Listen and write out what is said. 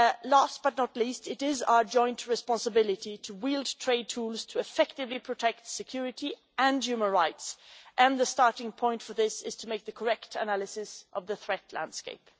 Last but not least, it is our joint responsibility to wield trade tools to effectively protect security and human rights, and the starting point for this is to make the correct analysis of the threat landscape.